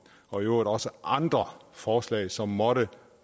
og i øvrigt også andre forslag som måtte